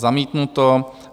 Zamítnuto.